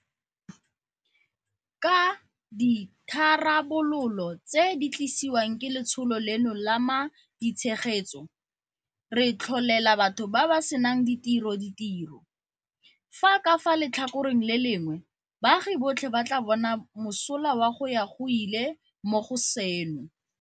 Ka ditharabololo tse di tlisiwang ke letsholo leno la ma ditshegetso, re tlholela batho ba ba senang ditiro ditiro, fa ka fa letlhakoreng le lengwe baagi botlhe ba tla bona mosola wa go ya go ile mo go seno.